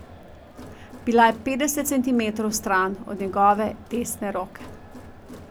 Bila je petdeset centimetrov stran od njegove desne roke.